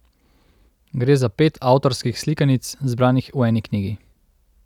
Gre za pet avtorskih slikanic, zbranih v eni knjigi.